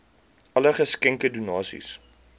alle geskenke donasies